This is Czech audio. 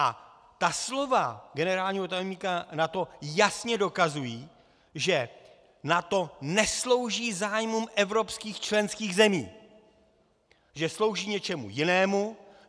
A ta slova generálního tajemníka NATO jasně dokazují, že NATO neslouží zájmům evropských členských zemí, že slouží něčemu jinému.